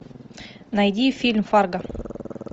найди фильм фарго